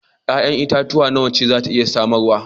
Ya'yan itatuwa nawa itace za ta iya samarwa?